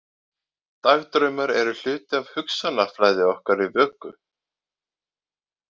Dagdraumar eru hluti af hugsanaflæði okkar í vöku.